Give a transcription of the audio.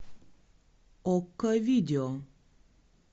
окко видео